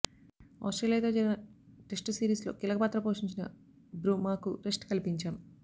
ఆస్ట్రేలియాతో జరిగిన test series లో కీలకపాత్ర పోషించిన బ్రుమాకు రెస్ట్ కల్పించాం